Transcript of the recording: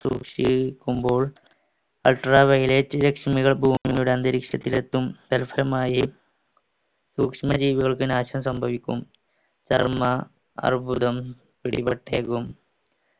ultra violet രശ്മികൾ ഭൂമിയുടെ അന്തരീക്ഷത്തിൽ എത്തും സൂക്ഷ്മജീവികൾക്ക് നാശം സംഭവിക്കും ചർമ അർബുദം പിടിപെട്ടേക്കും